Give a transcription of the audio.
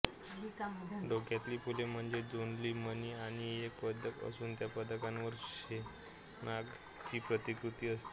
डोक्यातली फुले म्हणजे जोंधळी मणी आणि एक पदक असून त्या पदकावर शेषनाग ची प्रतिकृती असते